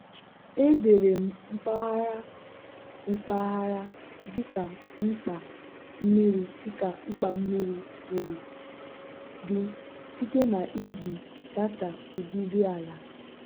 edere m mpaghara mpaghara dịka mkpa mmiri dịka mkpa mmiri siri dị site na iji data udidi ala.